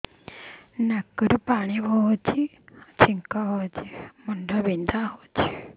ନାକରୁ ପାଣି ଗଡୁଛି ଛିଙ୍କ ହଉଚି ମୁଣ୍ଡ ବିନ୍ଧୁଛି